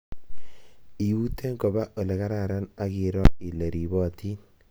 Iute koba olekararan akiroo ile ribotin